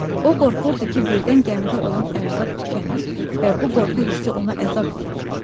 O qorxurdu ki, birdən gəmidə olan ərzaq tükənər və bu qorxu hissi ona əzab verirdi.